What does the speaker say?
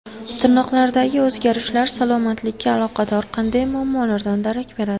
Tirnoqlardagi o‘zgarishlar salomatlikka aloqador qanday muammolardan darak beradi?.